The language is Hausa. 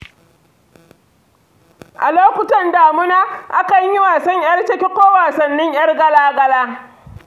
A lokutan damuna, akan yi wasan 'yar cake ko wasannin 'yar gala-gala.